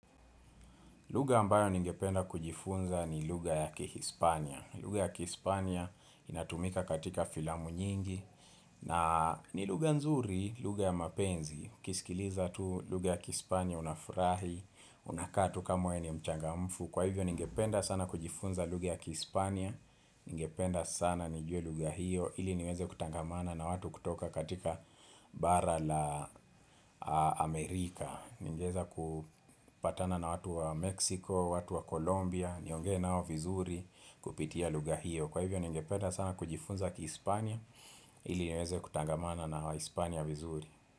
Lugha ambayo ningependa kujifunza ni lugha ya Kihispania. Lugha ya Kihispania inatumika katika filamu nyingi. Na ni lugha nzuri, lugha ya mapenzi. Ukisikiliza tu lugha ya Kihispania unafurahi, unakaa tu kama mwenye ni mchangamfu. Kwa hivyo ningependa sana kujifunza lugha ya Kihispania. Ningependa sana nijue lugha hiyo. Ili niweze kutangamana na watu kutoka katika bara la Amerika. Ningeweza kupatana na watu wa Mexico, watu wa Kolombia Nionge nao vizuri kupitia lugha hiyo Kwa hivyo ningependa sana kujifunza kiHispania ili niweze kutangamana na waHispania vizuri.